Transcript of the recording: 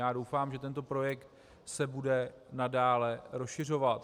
Já doufám, že tento projekt se bude nadále rozšiřovat.